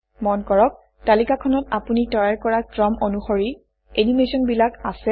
মন কৰক তালিকাখনত আপুনি তৈয়াৰ কৰা ক্ৰম অনুসৰি এনিমেচনবিলাক আছে